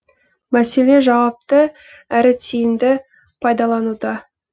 мәселе жауапты әрі тиімді пайдалануда